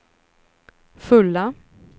fulla